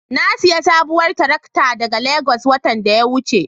Na sayi sabuwar tarakta daga Legas watan da ya wuce.